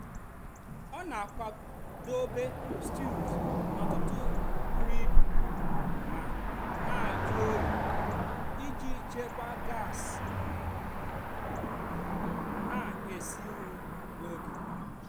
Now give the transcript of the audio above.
ọ́ nà-ákùwádóbè stíwùz n'ótụtụ́ bùrú íbù mà nà-àjụ́ óyìì ìjì chèkwáà gás nà-èsì nrì nà ógè.